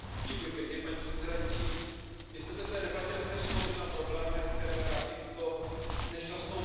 Paní předsedající, my jsme se v té debatě jasně shodli na problémech, které trápí tuto nešťastnou zemi.